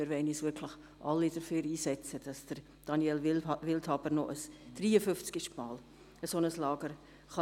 Wir wollen uns wirklich alle dafür einsetzen, dass Daniel Wildhaber ein 53. Mal ein solches Lager leiten kann.